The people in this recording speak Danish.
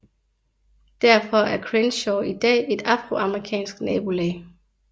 Derfor er Crenshaw i dag et afroamerikansk nabolag